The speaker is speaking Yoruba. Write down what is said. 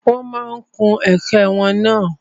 Wọ́n ma kun ẹ̀kẹ́ wọn náà.